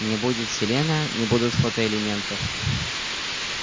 не будет селена не будут фотоэлементов